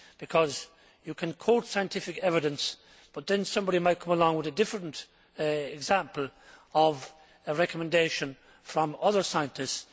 Because you can quote scientific evidence but then somebody might come along with a different example of a recommendation from other scientists.